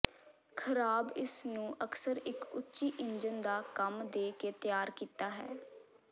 ਖ਼ਰਾਬ ਇਸ ਨੂੰ ਅਕਸਰ ਇੱਕ ਉੱਚੀ ਇੰਜਣ ਦਾ ਕੰਮ ਦੇ ਕੇ ਤਿਆਰ ਕੀਤਾ ਹੈ